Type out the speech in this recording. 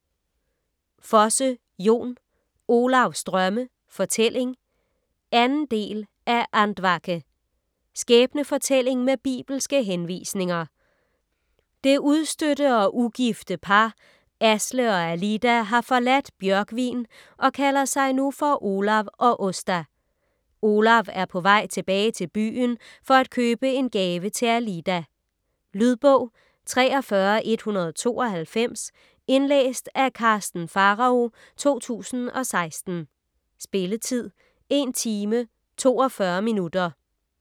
Fosse, Jon: Olavs drømme: fortælling 2. del af Andvake. Skæbnefortælling med bibelske henvisninger. Det udstødte og ugifte par, Asle og Alida, har forladt Bjørgvin og kalder sig nu for Olav og Åsta. Olav er på vej tilbage til byen for at købe en gave til Alida. . Lydbog 43192 Indlæst af Karsten Pharao, 2016. Spilletid: 1 timer, 42 minutter.